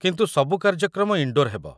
କିନ୍ତୁ ସବୁ କାର୍ଯ୍ୟକ୍ରମ ଇନ୍‌ଡୋର୍ ହେବ।